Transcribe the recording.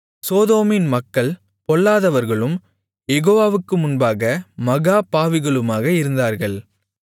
சோதோமின் மக்கள் பொல்லாதவர்களும் யெகோவாவுக்கு முன்பாக மகா பாவிகளுமாக இருந்தார்கள்